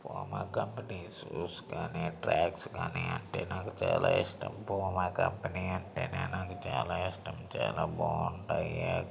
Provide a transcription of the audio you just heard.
Puma company shoes కానీ tracks కానీ అంటే నాకు చాలా ఇష్టం పూమా కంపెనీ అంటేనే నాకు చాలా ఇష్టం చాలా బాగుంటాయి.